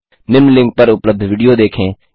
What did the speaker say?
निम्न लिंक पर उपलब्ध विडियो देखें